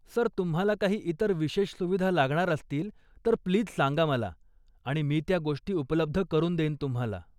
Sir, तुम्हाला काही इतर विशेष सुविधा लागणार असतील, तर प्लीज सांगा मला आणि मी त्या गोष्टी उपलब्ध करून देईन तुम्हाला.